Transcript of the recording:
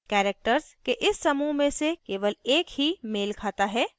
characters के इस समूह में से केवल एक ही मेल खाता है